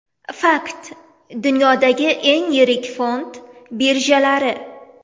Fakt: Dunyodagi eng yirik fond birjalari.